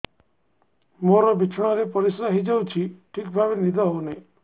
ମୋର ବିଛଣାରେ ପରିସ୍ରା ହେଇଯାଉଛି ଠିକ ଭାବେ ନିଦ ହଉ ନାହିଁ